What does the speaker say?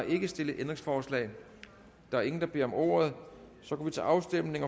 ikke stillet ændringsforslag der er ingen der beder om ordet og så går vi til afstemning